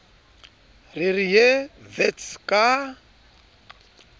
re re ye wits ka